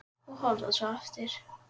Og horfa svo aftur.